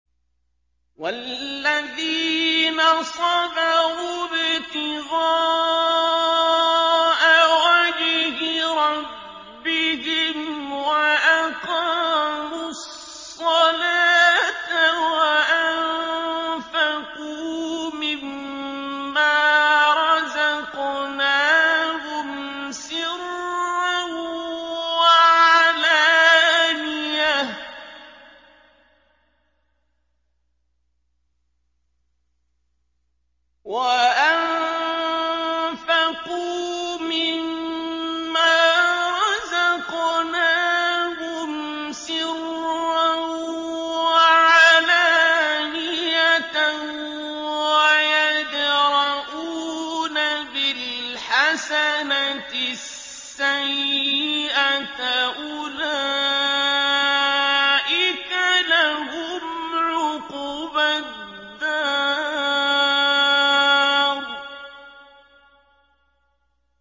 وَالَّذِينَ صَبَرُوا ابْتِغَاءَ وَجْهِ رَبِّهِمْ وَأَقَامُوا الصَّلَاةَ وَأَنفَقُوا مِمَّا رَزَقْنَاهُمْ سِرًّا وَعَلَانِيَةً وَيَدْرَءُونَ بِالْحَسَنَةِ السَّيِّئَةَ أُولَٰئِكَ لَهُمْ عُقْبَى الدَّارِ